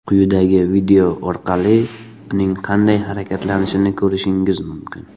Quyidagi video orqali uning qanday harakatlanishini ko‘rishingiz mumkin.